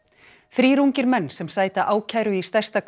þrír ungir menn sem sæta ákæru í stærsta